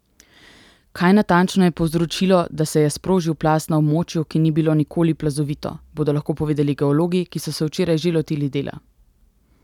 Kaj natančno je povzročilo, da se je sprožil plaz na območju, ki ni bilo nikoli plazovito, bodo lahko povedali geologi, ki so se včeraj že lotili dela.